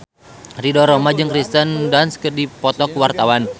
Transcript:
Ridho Roma jeung Kirsten Dunst keur dipoto ku wartawan